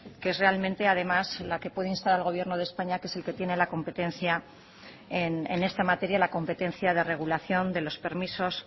que es realmente además al que puede instar al gobierno de españa que es el que tiene la competencia en esta materia la competencia de regulación de los permisos